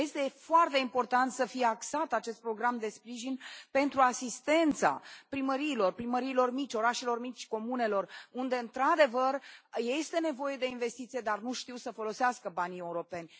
Este foarte important să fie axat acest program de sprijin pentru asistența primăriilor, primăriilor mici, orașelor mici, comunelor, unde într adevăr este nevoie de investiție, dar nu știu să folosească banii europeni.